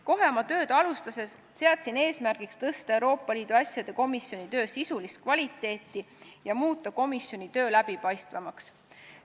Kohe oma tööd alustades seadsin eesmärgiks parandada Euroopa Liidu asjade komisjoni töö sisulist kvaliteeti ja muuta komisjoni töö läbipaistvamaks.